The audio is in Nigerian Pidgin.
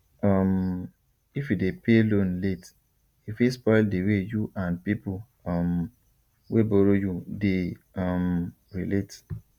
um if you dey pay loan late e fit spoil the way you and people um wey borrow you dey um relate